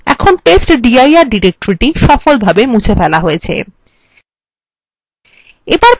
এখন testdir directory সফলভাবে মুছে ফেলা হয়েছে